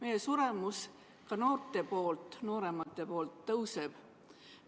Ka nooremate inimeste suremus kasvab.